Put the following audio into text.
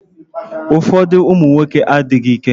Ụfọdụ ụmụnwoke adịghị ike.